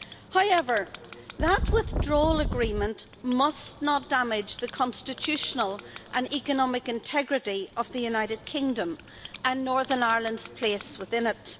However that withdrawal agreement must not damage the constitutional and economic integrity of the United Kingdom and Northern Ireland's place within it.